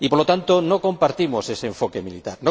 Y, por lo tanto, no compartimos ese enfoque militar.